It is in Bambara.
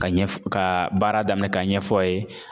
Ka ɲɛf ka baara daminɛ ka ɲɛfɔ a ye